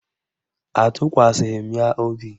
Atụkwasịghị m ya obi